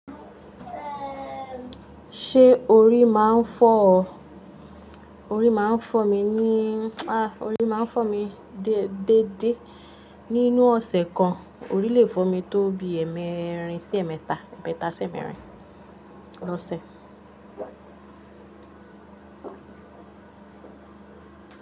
Ṣé orí máa ń fọ́ ọ? Orí máa ń fọ́ mi ni, a, orí máa ń fọ́ mi dé dé. Nínú ọ̀sẹ̀ kan, orí lè fọ́ mi tó bi ẹẹmerin sí ẹ̀mẹ́ta, ẹ̀ẹ́mẹ́ta sí ẹẹmerin lọ́sẹ̀